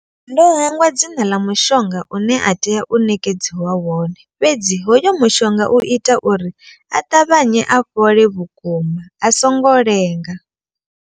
Ndo hangwa dzina ḽa mushonga une a tea u ṋekedziwa wone. Fhedzi hoyo mushonga u ita uri a ṱavhanye a fhole vhukuma a songo lenga.